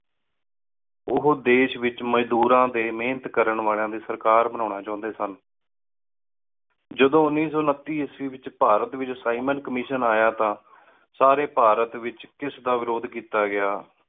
ਓਹੋ ਦੇਸ਼ ਵਿਚ ਮਜ਼ਦੂਰਾ ਡੀ ਮੇਹਨਤ ਕਰਨ ਵਾਲੀਆ ਦੀ ਸਰਕਾਰ ਬਨਾਨਾ ਚਾਹੁੰਦੇ ਸਨ। ਜਦੋਂ ਉੱਨੀ ਸੋ ਉਨੱਤੀ ਈਸਵੀ ਏਚ ਭਾਰਤ ਏਚ ਸਾਈਮਨ ਕਮਿਸ਼ਨ ਆਯਾ ਤਾ ਸਾਰੀ ਭਾਰਤ ਏਚ ਏਸ ਦਾ ਵਿਰੋਦ ਕੀਤਾ ਗਯਾ।